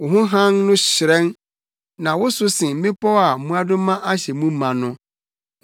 Wo ho hann no hyerɛn, na woso sen mmepɔw a mmoadoma ahyɛ mu ma no.